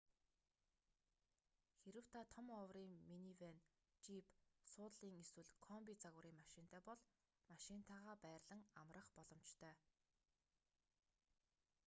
хэрэв та том оврын минивэн жийп суудлын эсвэл комби загварын машинтай бол машинтайгаа байрлан амрах боломжтой